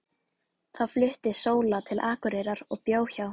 Þá flutti Sóla til Akureyrar og bjó hjá